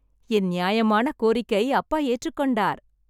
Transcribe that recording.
என் நியாயமான கோரிக்கை அப்பா ஏற்று கொண்டார்.